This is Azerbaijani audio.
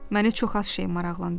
Məni çox az şey maraqlandırır.